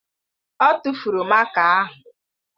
Ọ tụ́furu máká ahụ.